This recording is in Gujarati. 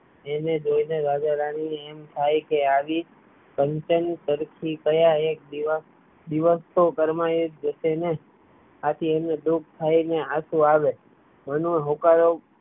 તેને જોઈને રાજારાણી ને એમ થાય કે આવી કંચનતરફી કાયા એ દિવસ એ દિવસો ઘરમાં એ જોશે ને આથી એને દુઃખ થાય ને આંસુ આવે મનોહર હુંકારો